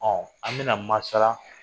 an bɛ na maasala